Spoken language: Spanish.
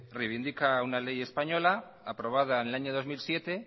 reivindica una ley español aprobada en el año dos mil siete